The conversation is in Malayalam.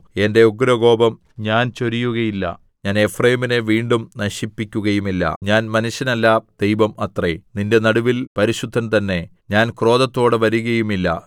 എന്റെ ഉഗ്രകോപം ഞാൻ ചൊരിയുകയില്ല ഞാൻ എഫ്രയീമിനെ വീണ്ടും നശിപ്പിക്കുകയുമില്ല ഞാൻ മനുഷ്യനല്ല ദൈവം അത്രേ നിന്റെ നടുവിൽ പരിശുദ്ധൻ തന്നെ ഞാൻ ക്രോധത്തോടെ വരുകയുമില്ല